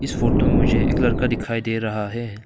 इस फोटो में मुझे एक लड़का दिखाई दे रहा है।